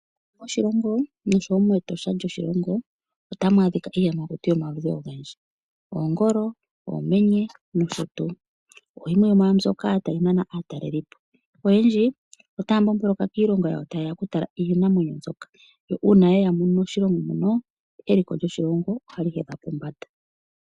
Moshilongo noshowo metosha lyoshilongo otamu adhika iiyamakuti yomaludhi ogendji oongolo oomenye nosho tuu .Oyo yimwe yomwa mbyoka tayi nana aatalelipo. Oyendji otaya mbomboloka kiilongo yawo tayeya oku tala iinamwenyo mbyoka yo uuna yeya moshilongo muno eliko lyoshilongo ohali hedha pombanda.